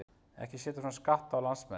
Ekki að setja svona skatta á landsmenn?